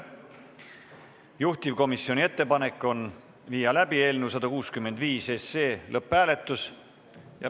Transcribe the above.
Juhtivkomisjoni ettepanek on viia läbi eelnõu 165 lõpphääletus.